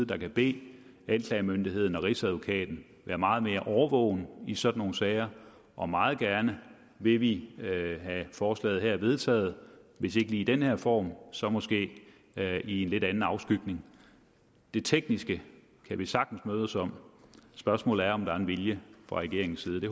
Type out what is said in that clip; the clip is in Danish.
der kan bede anklagemyndigheden og rigsadvokaten være meget mere årvågen i sådan nogle sager og meget gerne vil vi have forslaget her vedtaget hvis ikke lige i den her form så måske i en lidt anden afskygning det tekniske kan vi sagtens mødes om spørgsmålet er om der er en vilje fra regeringens side